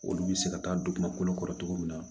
Olu bɛ se ka taa don dugumakolo kɔrɔ cogo min na